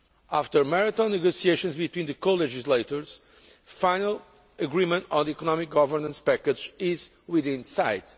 After marathon negotiations between the co legislators, final agreement on the economic governance package is within sight.